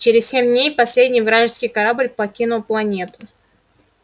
через семь дней последний вражеский корабль покинул планету